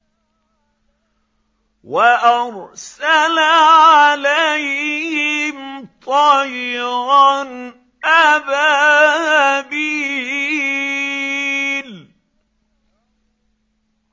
وَأَرْسَلَ عَلَيْهِمْ طَيْرًا أَبَابِيلَ